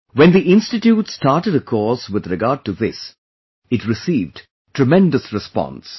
When the Institute started a course with regard to this, it received tremendous response